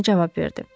Şarni cavab verdi: